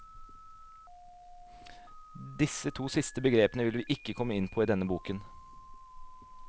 Disse to siste begrepene vil vi ikke komme inn på i denne boken.